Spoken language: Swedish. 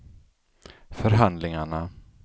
förhandlingarna